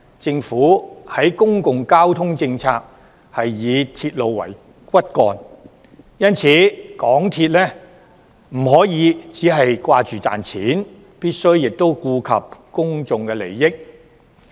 政府的公共交通政策是以鐵路為骨幹，因此，港鐵公司不可以只顧賺錢，亦必須顧及公眾利益。